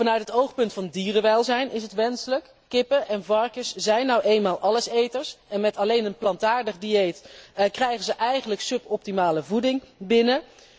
Vanuit het oogpunt van dierenwelzijn is het wenselijk, kippen en varkens zijn nu eenmaal alleseters en met alleen een plantaardig dieet krijgen ze eigenlijk suboptimale voeding binnen.